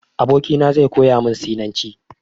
Abokina zai koya min Sinanci.